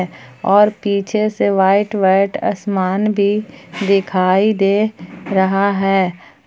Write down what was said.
और पीछे से व्हाईट व्हाईट असमान भी दिखाई दे रहा है।